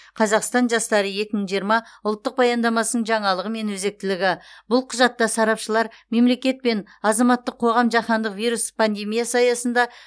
қазақстан жастары екі мың жиырма ұлттық баяндамасының жаңалығы мен өзектілігі бұл құжатта сарапшылар мемлекет пен азаматтық қоғам жаһандық вирус пандемиясы аясында